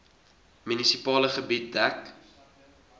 munisipale gebied dek